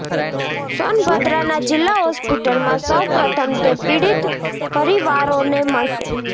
સોનભદ્રના જિલ્લા હોસ્પિટલમાં સૌ પ્રથમ તે પીડિત પરિવારોને મળશે